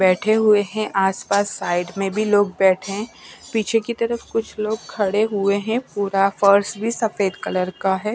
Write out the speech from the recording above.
बैठे हुए हैं आसपास साइड में भी लोग बैठे हैं पीछे की तरफ कुछ लोग खड़े हुए हैं पूरा फर्श भी सफेद कलर का है।